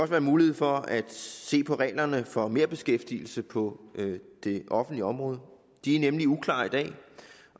være mulighed for at se på reglerne for merbeskæftigelse på det offentlige område de er nemlig uklare i dag